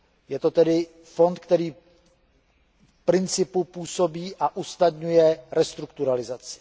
Je to tedy fond, který v principu působí a usnadňuje restrukturalizaci.